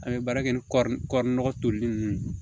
An bɛ baara kɛ ni kɔɔri kɔri nɔgɔ toli ninnu ye